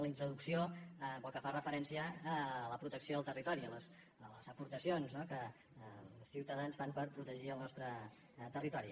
la introducció pel que fa referència a la protecció del territori a les aportacions no que ciutadans fan per protegir el nostre territori